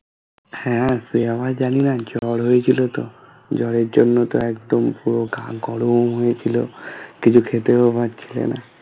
হ্যাঁ সে আমি জানিনা জ্বর হয়েছিল তো জ্বরের জন্য তো একদম পুরো গা গরম হয়ে ছিলো কিছু খেতেও পারছিলে না